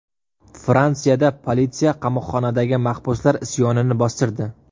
Fransiyada politsiya qamoqxonadagi mahbuslar isyonini bostirdi.